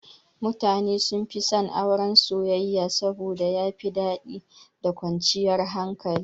Mutane sunfi son Auren soyayya saboda yafi daɗi da kwanciyar hankali.